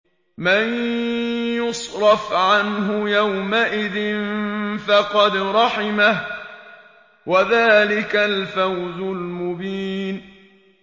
مَّن يُصْرَفْ عَنْهُ يَوْمَئِذٍ فَقَدْ رَحِمَهُ ۚ وَذَٰلِكَ الْفَوْزُ الْمُبِينُ